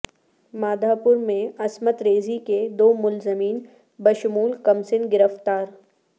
مادھاپور میں عصمت ریزی کے دو ملزمین بشمول کمسن گرفتار